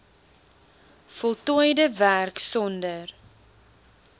voltooide werk sonder